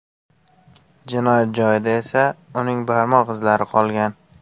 Jinoyat joyida esa uning barmoq izlari qolgan.